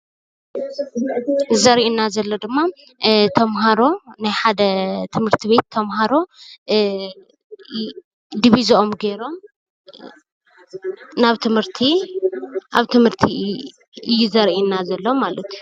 እዚ ዘርኢና ዘሎ ድማ ናይ ሓደ ትምህርት ቤት ተምሃሮ ዲቢዝኦም ገይሮም ኣብ ትምህርቲ እዩ ዘርእየና ዘሎ።